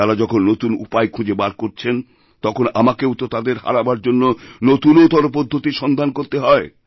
তাঁরা যখন নতুন উপায় খুঁজে বার করছেন তখন আমাকেও তোতাদের হারাবার জন্য নতুনতর পদ্ধতির সন্ধান করতে হয়